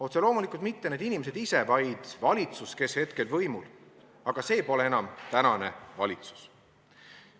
Otse loomulikult mitte need inimesed ise, vaid valitsus, kes hetkel on võimul, aga see pole enam tänane valitsus.